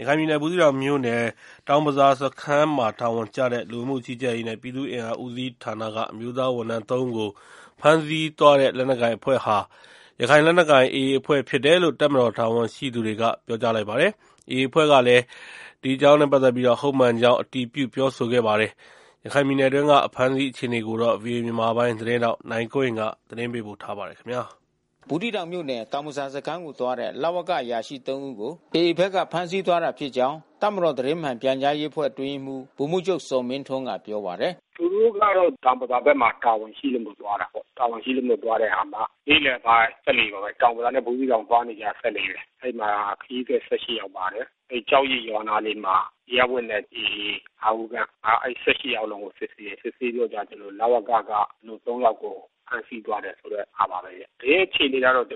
ရခိုင်ပြည်နယ် ဘူးသီးတောင်မြို့နယ် တောင်ဘဇာစခန်းမှာ တာဝန်ကျတဲ့ လူဝင်မှုကြီးကြပ်ရေးနဲ့ ပြည်သူ့အင်အားဦးစီး ဌာနက အမျိုးသားဝန်ထမ်း ၃ ဦးကို ဖမ်းဆီးသွားတဲ့ လက်နက်ကိုင် အဖွဲ့ဟာ ရခိုင်လက်နက်ကိုင် AA အဖွဲ့ ဖြစ်တယ်လို့ တပ်မတော် တာဝန်ရှိသူတွေက ပြောပါတယ်။ AA အဖွဲ့ကလည်း ဟုတ်မှန်ကြောင်း အတည်ပြုပြောဆိုပါတယ်။ ရခိုင်ပြည်နယ်အတွင်းက အဖမ်းဆီးအခြေအနေကို ဗွီအိုအေမြန်မာပိုင်း သတင်းထောက် နိုင်ကွန်းအိန်ကနေ သတင်းပေးပို့ထားပါတယ်။ ဘူးသီးတောင်မြို့နယ် တောင်ဘဇာစခန်းကိုသွားတဲ့ လဝက အရာရှိ ၃ ဦးကို AA ဘက်က ဖမ်းဆီးသွားတာ ဖြစ်ကြောင်း တပ်မတော် သတင်းမှန်ပြန်ကြား ရေးအဖွဲ့အတွင်းရေးမှူး ဗိုလ်မှူးချုပ်ဇော်မင်းထွန်းကပြောပါတယ်။ “သူတို့ကတော့ တောင်ဘဇာဘက်မှာ တာဝန်ရှိလို့သွားတာပေါ့။ တာဝန်ရှိလို့သွားတဲ့ အခါမှာ နေ့လယ်ပိုင်း စက်လှေမှာပဲ တောင်ဘဇာနဲ့ ဘူးသီးတောင်သွားနေကြ စက်လှေမှာပဲ။ အဲဒီမှာ ခရီးသည် ၁၈ ယောက် ပါတယ်။ အဲဒီ ကျောက်ရစ် ရွာ အနားလေးမှာ အရပ်ဝတ်နဲ့ AA ၅ ဦး ခန့် အဲဒီ ၁၈ ယောက်လုံးကို စစ်ဆေးတယ်။ စစ်ဆေးပြီးတော့ ကျနော်တို့ လဝက က ၃ ယောက်စလုံးကို ဖမ်းဆီးသွားတယ် ဆိုတဲ့ဟာပါပဲဗျ။ သတင်းအခြေအနေက ကျနော်တို့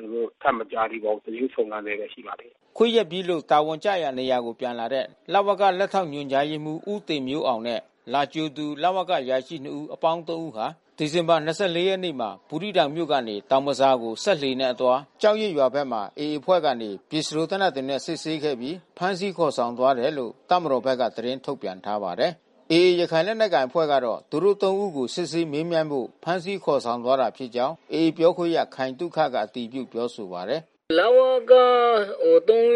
ထပ်မကြားသေးပါဘူး။ ကျနော်တို့ စုံစမ်းဆဲပဲ ရှိပါသေးတယ်။” ခွင့်ရက်ပြီးလို့ တာဝန်ကျရာ နေရာကို ပြန်လာတဲ့ လဝက လက်ထောက်ညွန်ကြားရေးမှုး ဦးတင်မျိုးအောင် နဲ့လာကြိုသူ လဝက အရာရှိနှစ်ဦး အပေါင်း ၃ ဦးဟာ ဒီဇင်ဘာ ၂၄ ရက်မှာ ဘူးသီးတောင်မြို့ကနေ တောင်ဘဇာကို စက် လှေနဲ့ အသွား ကျောက်ရစ်ရွာ ဘက်မှာ AAအဖွဲ့ကနေ ပစ္စတိုသေနတ်တွေနဲ့ စစ်ဆေးခဲ့ပြီး ဖမ်းဆီး ခေါ်ဆောင်သွားတယ်လို့ တပ်မတော်ဘက်က သတင်းထုတ်ပြန်ထားပါတယ်။ AA ရခိုင်လက်နက်ကိုင်အဖွဲ့ ကတော့ သူတို့ ၃ ဦးကို စစ်ဆေးမေးမြန်းဖို့ ဖမ်းဆီး ခေါ်ဆောင်သွားတာ ဖြစ်ကြာင်း AA ပြောခွင့်ရ ခိုင်သုခက အတည်ပြုပြောဆို ပါတယ်။ “လဝက ၃ ဦး ကို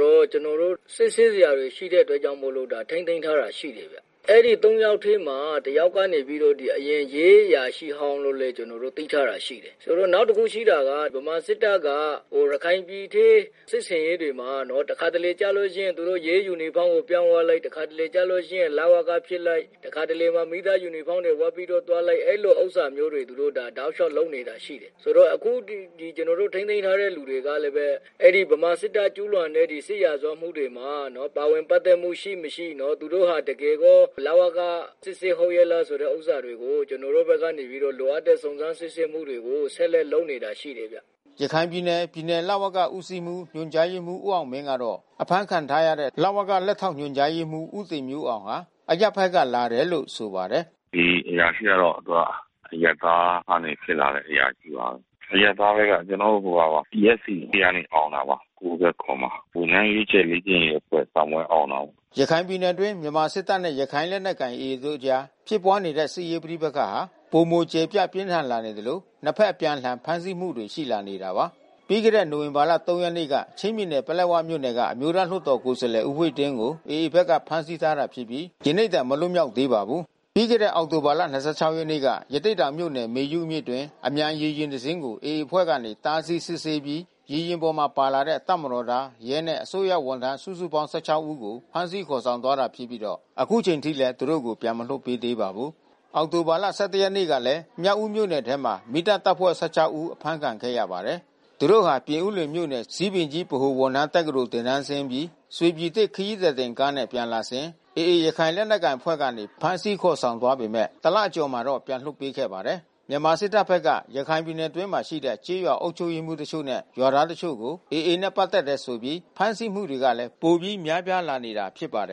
တော့ ကျနော်တို့ စစ်ဆေးစရာတွေ ရှိတဲ့အတွက်ကြောင့်မို့လို့ ထိန်းသိမ်းထားတာ ရှိတယ်ဗျ။ အဲဒီ ၃ ယောက်ထဲမှာ တယောက်ကနေပြီးတော့ အရင် ရဲအရာရှိဟောင်းလို့လည်း ကျနော်တို့ သိထားတာရှိတယ်။ ဆိုတော့ နောက်တခု ရှိတာက ဗမာစစ်တပ်က ရခိုင်ပြည်ထဲ စစ်ဆင်ရေးတွေမှာနော် တခါတလေ ကျလို့ရှိရင် သူတို့ ရဲယူနီဖောင်းကို ပြောင်းသွားလိုက် တခါတလေကျလို့ ရှိရင် လဝကဖြစ်လိုက် တခါတလေမှာ မီးသတ် ယူနီဖေါင်းတွေ ဝတ်ပြီးတော့ သွားလိုက် အဲဒီလိုဥစ္စာမျိုးတွေ သူတို့ ဒါတလျှောက် လုပ်နေတာ ရှိတယ်။ အခုဒီ ကျနော်တို့ ထိန်းသိမ်းထားတဲ့ လူတွေကလည်းပဲ အဲဒီဗမာစစ်တပ်က ကျူးလွန်တဲ့ စစ်ရာဇဝတ်မှုတွေမှာ ပါဝင် ပက်သက်မှု ရှိမရှိ။ သူတို့ဟာ တကယ်ပဲ လဝက စစ်စစ်ဟုတ် ရဲ့ လားဆိုတဲ့ ဥစ္စာတွေကို ကျနော်တို့ဘက်ကနေပြီးတော့ လိုအပ်တဲ့ စုံစမ်းစစ်ဆေးမှုတွေကို ဆက်လက်လုပ်နေတာ ရှိတယ်ဗျ။” ရခိုင်ပြည်နယ် ပြည်နယ်လဝက ဦးစီးမှူး ညွှန်ကြားရေးမှူး ဦးအောင်မင်းကတော့ အဖမ်းခံထားရတဲ့ လဝက လက်ထောက်ညွှန်ကြားရေးမှူး ဦးတင်မျိုးအောင်ဟာ အရပ်ဘက်က လာတယ်လို့ ဆိုပါတယ်။ “ဒီအရာရှိကတော့ သူက အရပ်သားကနေ ဖြစ်လာတဲ့ အရာရှိပါ။ အရပ်သားထဲက ကျနော်တို့ဟိုဟာပါ ။ DSC ထဲက အောင်တာပါ။ ၉၇ မှာပါ။ ဝန်ထမ်းရွေးချယ် လေ့ကျင့်ရေးအဖွဲ့ စာမေးပွဲအောင်တာပေါ့။” ရခိုင်ပြည်နယ်အတွင်း မြန်မာစစ်တပ်နဲ့ ရခိုင့်လက်နက်ကိုင် AA တို့အကြားဖြစ်ပွားနေတဲ့ စစ်ရေးပဋိပက္ခဟာ ပိုမိုကျယ်ပြန့် ပြင်းထန်လာနေသလို နှစ်ဘက် အပြန်အလှန် ဖမ်းဆီးမှုတွေ ရှိလာနေတာပါ။ ပြီးခဲ့တဲ့နိုဝင်ဘာ ၃ ရက်နေ့က ချင်းပြည်နယ်၊ ပလက်ဝမြို့နယ်က အမျိုးသား လွှတ်တော် ကိုယ်စားလှယ် ဦးဝှေ့တင်းကို AA ဘက်က ဖမ်းဆီးထားတာ ဖြစ်ပြီး ယနေ့တိုင် မလွတ်မြောက်သေးပါဘူး။ ပြီးခဲ့တဲ့ အောက်တိုဘာ ၂၆ ရက်နေ့က ရသေ့တောင်မြို့နယ် မေယုမြစ်အတွင်း အမြန်ရေယာဉ် တစ်စီးကို AA အဖွဲ့ ကနေ တားဆီး စစ်ဆေးပြီး ရေယာဉ်ပေါ် ပါလာတဲ့ တပ်မတော်သား၊ ရဲနဲ့ အစိုးရဝန်ထမ်း စုစုပေါင်း ၁၆ ဦးကို ဖမ်းဆီးသွားခဲ့တဲ့တာ ဖြစ်ပြီး အခုအချိန်အထိလည်း သူတို့ကို ပြန်လွှတ် မပေးသေးပါဘူး။ အောက်တိုဘာလ ၁၁ ရက်နေ့ကလည်း မြောက်ဦး မြို့နယ်ထဲမှာ မီးသတ်တပ်ဖွဲ့ ၁၆ ဦး အဖမ်းခံခဲ့ရပါတယ်။ သူတို့ဟာ ပြင်ဦးလွင်မြို့နယ် ဇီးပင်ကြီးဗဟို ဝန်ထမ်း တက္ကသိုလ် သင်တန်းဆင်းအပြီး ရွှေပြည်သစ်ခရီးသည် တင်ကားနဲ့ ပြန်လာစဉ် AA ရခိုင် လက်နက်ကိုင်အဖွဲ့ကနေ ဖမ်းဆီးခေါ်ဆောင်သွားပေမယ့် တလ အကျော်မှာတော့ ပြန်လွှတ်ပေးခဲ့ပါတယ်။ မြန်မာ စစ်တပ်ဘက်က ရခိုင်ပြည်နယ်အတွင်းမှာ ရှိတဲ့ ကျေးရွာ အုပ်ချုပ်ရေးမှူး တချို့နဲ့ ရွာသားတချို့ကို AA နဲ့ ပတ်သက်နေတယ်ဆိုပြီး ဖမ်းဆီးမှုတွေကလည်း ပိုပြီး များပြားလာနေတာ ဖြစ်ပါတယ်